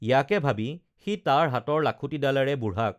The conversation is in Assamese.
ইয়াকে ভাবি সি তাৰ হাতৰ লাখুটিডালেৰে বুঢ়াক